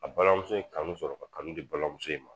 A balimamuso ye kanu sɔrɔ ka kanu di balimamuso in ma